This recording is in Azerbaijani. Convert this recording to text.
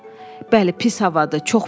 Bəli, pis havadır, çox pis.